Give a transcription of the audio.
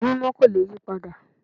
Ìwé Mímọ́ kò le yí padà